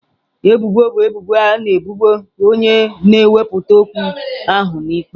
Ebubo bụ ebubo na ebubo onye na-ewepụta okwu ahụ n'ụlọ ikpe.